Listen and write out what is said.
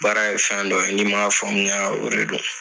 Baara ye fɛn dɔ ye n'i m'a faamuya o de do.